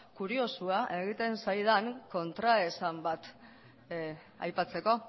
kuriosoa egiten zaidan kontraesan bat aipatzeko